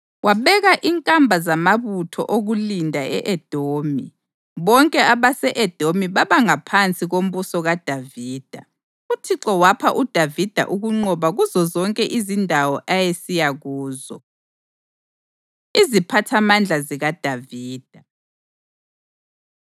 Wabeka inkamba zamabutho okulinda e-Edomi, bonke abase-Edomi babangaphansi kombuso kaDavida. UThixo wapha uDavida ukunqoba kuzozonke izindawo ayesiya kuzo. Iziphathamandla ZikaDavida